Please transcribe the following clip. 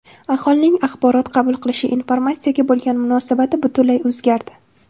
Aholining axborot qabul qilishi, informatsiyaga bo‘lgan munosabati butunlay o‘zgardi.